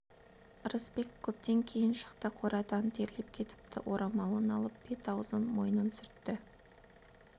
ырысбек көптен кейін шықты қорадан терлеп кетіпті орамалын алып бет-аузын мойнын сүртті